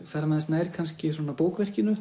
færa mig aðeins nær kannski svona